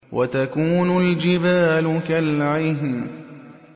وَتَكُونُ الْجِبَالُ كَالْعِهْنِ